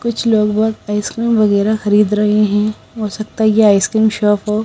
कुछ लोग बहोत आइसक्रीम वगैरा खरीद रहे हैं हो सकता है यह आइसक्रीम शॉप हो--